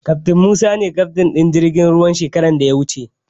Kaftin Musa ne kaftin ɗin jirgin ruwan shekaran da ta wuce.